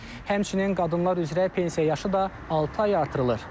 Həmçinin qadınlar üzrə pensiya yaşı da altı ay artırılır.